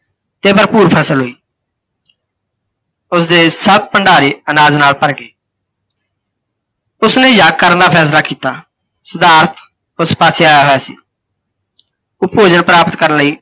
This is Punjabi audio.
ਤੇ ਭਰਪੂਰ ਫ਼ਸਲ ਹੋਈ। ਉਸਦੇ ਸਭ ਭੰਡਾਰੇ ਅਨਾਜ ਨਾਲ ਭਰ ਗਏ। ਉਸਨੇ ਯੱਗ ਕਰਨ ਦਾ ਫੈਸਲਾ ਕੀਤਾ, ਸਿਧਾਰਥ ਓਸ ਪਾਸੇ ਆਇਆ ਹੋਇਆ ਸੀ। ਓਹ ਭੋਜਣ ਪ੍ਰਾਪਤ ਕਰਨ ਲਈ